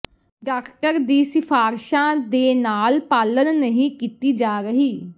doctor ਦੀ ਸਿਫਾਰਸ਼ਾਂ ਦੇ ਨਾਲ ਪਾਲਣ ਨਹੀਂ ਕੀਤੀ ਜਾ ਰਹੀ